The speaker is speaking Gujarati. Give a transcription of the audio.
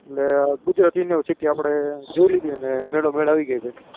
એટલે ગુજરાત university આપણે જોઈ લીધી અને મેડો મેડ આવી ગઈ ભાઈ